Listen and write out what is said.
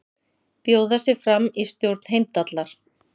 Bjóða sig fram í stjórn Heimdallar